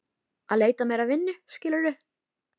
Að leita mér að vinnu, skilurðu.